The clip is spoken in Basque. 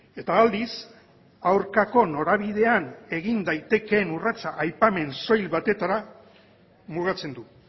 eta aldiz aurkako norabidean egin daitekeen urratsa aipamen soil batetara mugatzen du